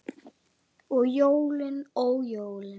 Og jólin, ó jólin!